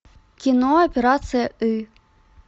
кино операция ы